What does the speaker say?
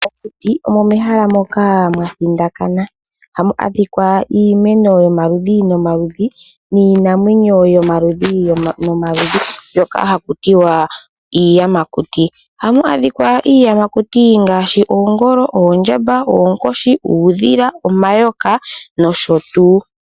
Mokuti omo mehala moka mwa thindakana . Ohamu adhika iimeno yomaludhi nomaludhi niinamwenyo yomaludhi nomaludhi mbyoka hakutiwa iiyamakuti. Ohamu adhika iiyamakuti ngaashi oongolo, oondjamba, oonkoshi, uudhila ,omayoka nosho tuu.